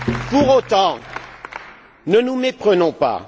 Pour autant, ne nous méprenons pas